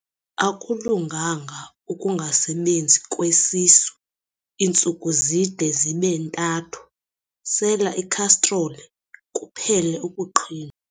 Akulunganga ukungasebenzi kwesisu iintsuku zide zibe ntathu, sela ikhastroli kuphele ukuqhinwa.